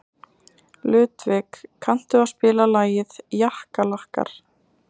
Ludvig, kanntu að spila lagið „Jakkalakkar“?